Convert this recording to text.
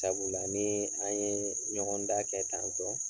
Sabula ni an ye ɲɔgɔn da kɛ tan tɔ